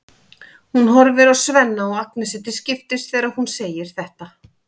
Hún horfir á Svenna og Agnesi til skiptis þegar hún segir þetta.